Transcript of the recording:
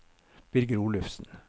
Birger Olufsen